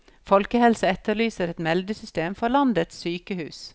Folkehelsa etterlyser et meldesystem for landets sykehus.